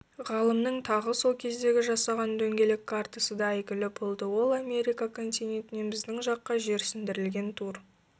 ғалымның тағы сол кездегі жасаған дөңгелек картасыда әйгілі болды ол америка континентінен біздің жаққа жерсіндірілген тур